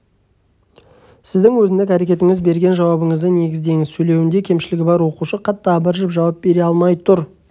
сіздің өзіндік әрекетіңіз берген жауабыңызды негіздеңіз сөйлеуінде кемшілігі бар оқушы қатты абыржып жауап бере алмай тұр